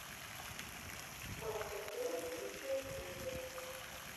мастер шилов лучшая серия